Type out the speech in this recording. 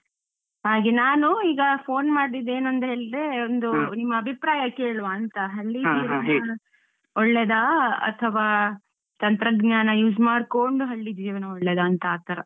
ಹಾಗೆ ನಾನು ಈಗ phone ಮಾಡಿದ್ದೇನಂದ್ರೆ ಹೇಳಿದ್ರೆ ಒಂದು ನಿಮ್ಮ ಅಭಿಪ್ರಾಯ ಕೇಳುವಾಂತ, ಹಳ್ಳೀ ಜೀವನ ಒಳ್ಳೇದಾ ಅಥವಾ ತಂತ್ರಜ್ಞಾನ use ಮಾಡ್ಕೊಂಡು ಹಳ್ಳಿ ಜೀವನ ಒಳ್ಳೇದಾಂತ ಆ ತರ.